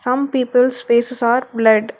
Some peoples faces are blurred.